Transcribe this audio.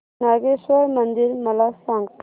नागेश्वर मंदिर मला सांग